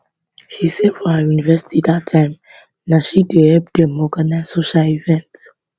she say for her university dat time na she dey help dem organise social events